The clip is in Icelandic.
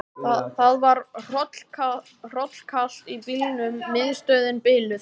Það var hrollkalt í bílnum, miðstöðin biluð.